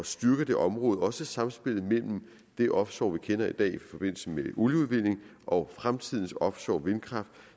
styrke det område også samspillet mellem de offshore aktiviteter vi kender i dag i forbindelse med olieudvinding og fremtidens offshore vindkraft